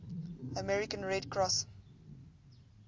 american red cross